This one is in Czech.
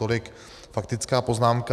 Tolik faktická poznámka.